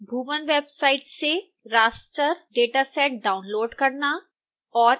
bhuvan website से raster dataset download करना और